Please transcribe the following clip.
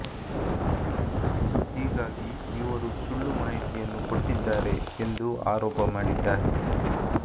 ಹೀಗಾಗಿ ಇವರು ಸುಳ್ಳು ಮಾಹಿತಿಯನ್ನು ಕೊಟ್ಟಿದ್ದಾರೆ ಎಂದು ಆರೋಪ ಮಾಡಿದ್ದಾರೆ